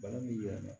Bana min yɛrɛ